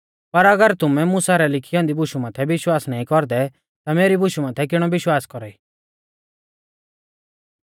पर अगर तुमै मुसा रै लिखी औन्दी बुशु माथै विश्वास नाईं कौरदै ता मेरी बुशु माथै किणौ विश्वास कौरा ई